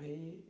Aí,